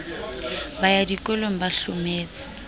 ba ya dikolong ba hlometse